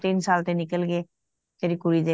ਤਿੰਨ ਸਾਲ ਤੇ ਨਿਕਲ ਗੇ ਤੇਰੀ ਕੁੜੀ ਦੇ